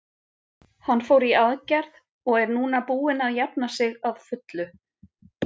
Hann fór í aðgerð og er núna búinn að jafna sig að fullu.